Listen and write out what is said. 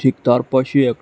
তার পাশে এক--